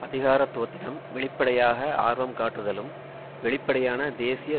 அதிகாரத்துவத்திடம் வெளிப்படையாக ஆர்வம் காட்டுதலும் வெளிப்படையான தேசிய